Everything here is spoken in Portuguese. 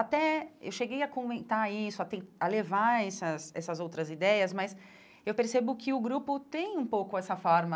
Até eu cheguei a comentar isso, a ten a levar essas essas outras ideias, mas eu percebo que o grupo tem um pouco essa forma